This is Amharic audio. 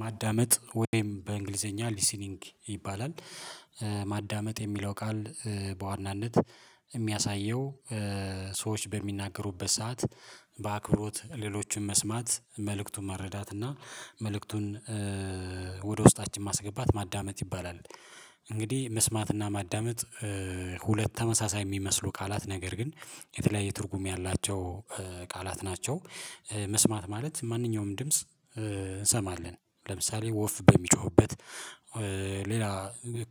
ማዳመጥ ወይም በእንግሊዘኛ ሊሲኒንግ ይባላል ማዳመጥ የሚለው ቃል በዋናነት የሚያሳየው ሰዎች በሚናገሩበት ሰዓት በአክብሮት ሌሎቹን መስማት መልእክቱን መረዳት እና መልእክቱን ወደ ውስጣችን ማስገባት ማዳመጥ ይባላል። እንግዲህ መስማትና ማዳመጥ ሁለት ተመሳሳይ የሚመስሉ ቃላት ነገር ግን የተለያየ ትርጉም ያላቸው ቃላት ናቸው። መስማት ማለት ማንኛውም ድምጽ እንሰማለን ለምሳሌ ወፍ በሚጮህበት ሌላ